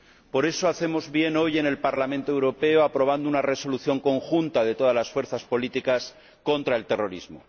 Por eso hacemos bien hoy en el Parlamento Europeo aprobando una Resolución conjunta, de todas las fuerzas políticas, contra el terrorismo.